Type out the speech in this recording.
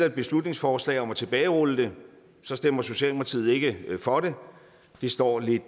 et beslutningsforslag om at tilbagerulle det stemmer socialdemokratiet ikke for det det står lidt